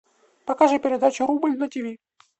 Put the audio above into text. покажи передачу рубль на тиви